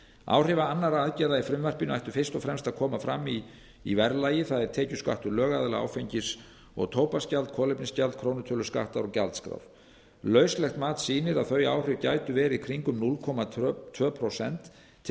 áhrif annarra aðgerða í frumvarpinu ættu fyrst og fremst að koma fram í verðlagi það er tekjuskattur lögaðila áfengis og tóbaksgjald kolefnisgjald krónutöluskattar og gjaldskrár lauslegt mat sýnir að þau áhrif gætu verið kringum núll komma tvö prósent til